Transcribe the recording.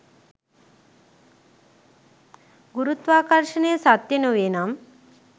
ගුරුත්වාකර්ෂණය සත්‍ය නොවේනම්